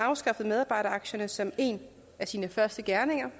afskaffede medarbejderaktierne som en af sine første gerninger